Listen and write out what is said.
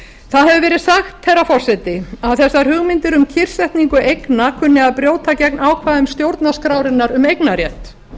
það hefur verið sagt herra forseti að þessar hugmyndir um kyrrsetningu eigna kunni að brjóta gegn ákvæðum stjórnarskrárinnar um eignarrétt